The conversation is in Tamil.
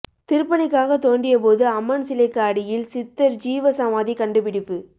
திருப்பணிக்காக தோண்டியபோது அம்மன் சிலைக்கு அடியில் சித்தர் ஜீவ சமாதி கண்டுபிடிப்பு